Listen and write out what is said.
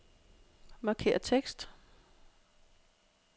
Markér tekst.